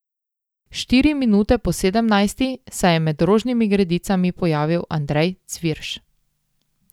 Štiri minute po sedemnajsti se je med rožnimi gredicami pojavil Andrej Cvirš.